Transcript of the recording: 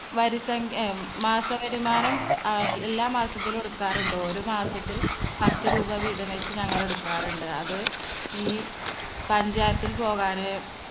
വരിസംഖ്യ ഏ മാസവരുമാനം അഹ് എല്ലാ മാസത്തിലും എടുക്കാറുണ്ടോ? ഒരു മാസത്തിൽ പത്തുരൂപ വീതംവെച്ച് ഞങ്ങൾ എടുക്കാറുണ്ട്. അത് ഈ പഞ്ചായത്തിൽ പോകാന്